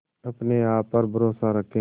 अपने आप पर भरोसा रखें